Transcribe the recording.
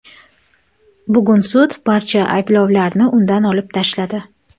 Bugun sud barcha ayblovlarni undan olib tashladi.